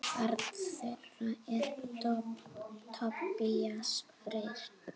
Barn þeirra er Tobías Freyr.